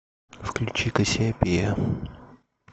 включи кассиопея